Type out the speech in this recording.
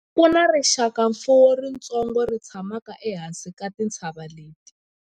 ku na rixakamfuwo ritsongo ri tshamaka ehansi ka tintshava leti